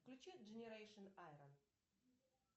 включи дженерейшн айрон